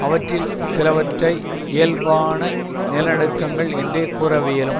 அவற்றில் சிலவற்றை இயல்பான நிலநடுக்கங்கள் என்றே கூறவியலும்